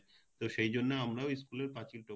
তো সেইজন্য আমরাও school পাচিল টপকে যেতাম